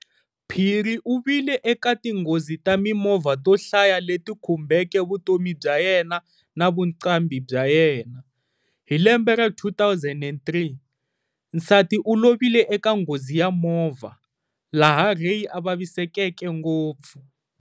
Phiri uvile eka tinghozi ta mimovha to hlaya leti khumbeke vutomi bya yena na vuqambhi bya yena. Hi lembe ra 2003, nsati ulovile eka nghozi ya movha, laha Ray a vavisekeke ngopfu.